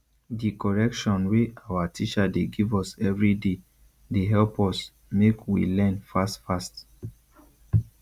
di correction wey awa teacher dey give us everyday dey help us make we learn fast fast